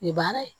U ye baara ye